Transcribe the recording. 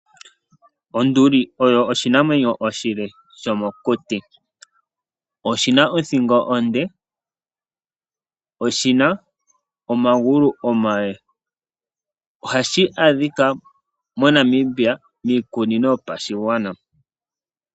Onduli oyo oshinamwenyo oshile shomo kuti oshina othingo onde, oshina omagulu omale nohashi adhika moNamibia miikunino yopashigwana.